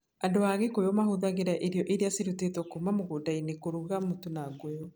Andũ a Kikuyu mahũthagĩra irio iria ciarutĩtwo kuuma mũgũnda-inĩ kũruga mũtu na ngũyũ.